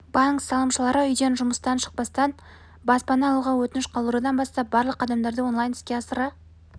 банк салымшылары үйден жұмыстан шықпастан баспана алуға өтініш қалдырудан бастап барлық қадамдарды онлайн іске асыра